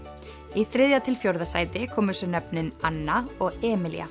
í þriðja til fjórða sæti komu svo nöfnin Anna og Emilía